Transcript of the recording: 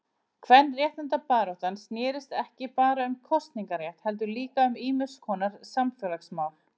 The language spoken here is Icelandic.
Kvenréttindabaráttan snérist ekki bara um kosningarétt heldur líka um ýmiskonar samfélagsmál.